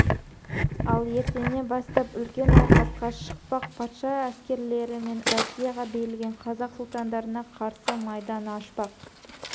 ал ертеңнен бастап үлкен айқасқа шықпақ патша әскерлері мен россияға берілген қазақ сұлтандарына қарсы майдан ашпақ